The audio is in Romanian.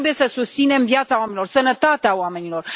Noi trebuie să susținem viața oamenilor, sănătatea oamenilor.